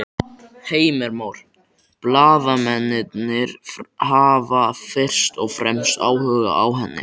Heimir Már: Blaðamennirnir hafa fyrst og fremst áhuga á henni?